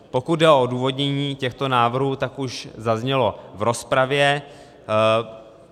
Pokud jde o odůvodnění těchto návrhů, tak už zaznělo v rozpravě.